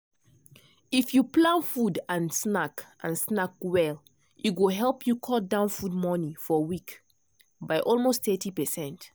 if you plan food and snack and snack well e go help you cut down food money for week by almost 30%.